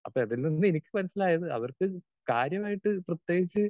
speaker 2 അപ്പോ അതിൽനിന്ന് എനിക്ക് മനസ്സിലായത് അവർക്ക് കാര്യമായിട്ട് പ്രത്യേകിച്ച്